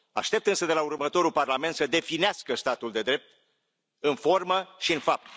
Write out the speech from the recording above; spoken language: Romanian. Aștept însă de la următorul Parlament să definească statul de drept în formă și în fapt.